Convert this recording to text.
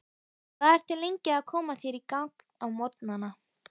Hvað ertu lengi að koma þér í gagn á morgnana?